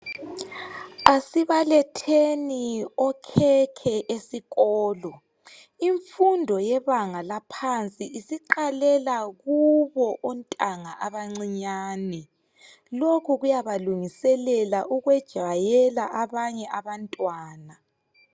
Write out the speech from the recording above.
Asibaletheni okhekhe esikolo, imfundo yebanga laphansi isiqalela kubo ontanga abancinyani. Lokhu kuyabalungiselela ukwejayela abanye abantwana.